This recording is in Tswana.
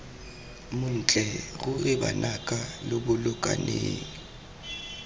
montle ruri banaka lo bolokaneng